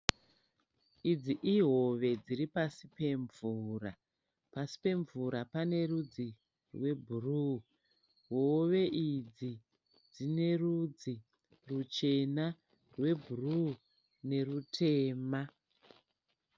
Idzi ihove dziripasi pemvura, Pasi pemvura pane rwudzi rwe bhru, hove idzi dzine rudzi rwuchena, rwebhru nerutema.